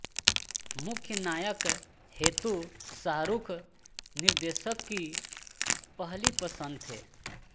मुख्य नायक हेतु शाहरुख निर्देशक की पहली पसंद थे